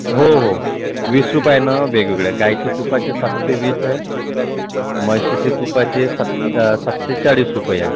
हो हो वीस रुपया वेगवेगळे आहे. गायचे तुपाचे सातशे विस आहे. म्हशीच्या सात शे अं सातशे चाळीस रुपए आहे.